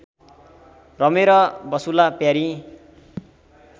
रमेर बसुँला प्यारी